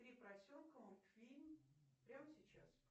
три поросенка мультфильм прямо сейчас